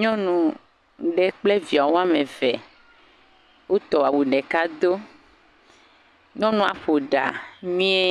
Nyɔnu aɖe kple via woame eve, woɔƒ awu ɖeka do. Nyɔnua ƒo ɖa mie.